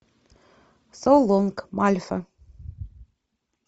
со лонг мальфа